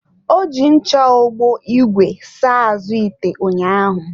Ọ ji ncha ogbo ìgwè saa-azụ ite ụnyaahụ.